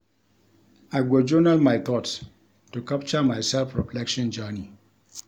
I go journal my thoughts to capture my self-reflection journey.